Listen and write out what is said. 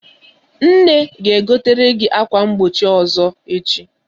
Nne ga-egotere gị ákwá mgbochi ọzọ echi.